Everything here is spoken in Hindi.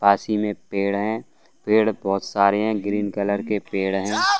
पास ही में पेड़ हैं पेड़ बहुत सारे हैं ग्रीन कलर के पेड़ हैं।